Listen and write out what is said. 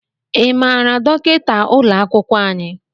Ị maara dọkịta ụlọ akwụkwọ anyị?